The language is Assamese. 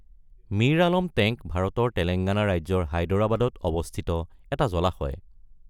মীৰ আলম টেঙ্ক ভাৰতৰ তেলেঙ্গানা ৰাজ্যৰ হায়দৰাবাদত অৱস্থিত এটা জলাশয়।